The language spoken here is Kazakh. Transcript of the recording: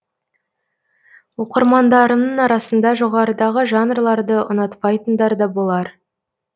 оқырмандарымның арасында жоғарыдағы жанрларды ұнатпайтындар да болар